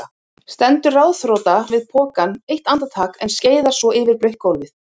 Stendur ráðþrota við pokann eitt andartak en skeiðar svo yfir blautt gólfið.